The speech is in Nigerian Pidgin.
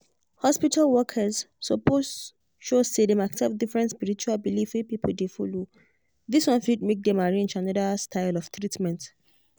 hospital workers suppose show say dem accept different spiritual belief wey people dey follow. this one fit make dem arrange another style of treatment.